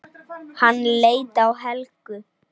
Hann leit til Helgu.